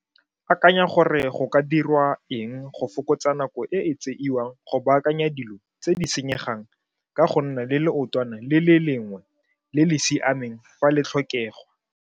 Akanya gore go ka dirwa eng go fokotsa nako e e tseiwang go baakanya dilo tse di senyegang ka go nna le leotwana le lengwe le le siameng fa le tlhokegwa.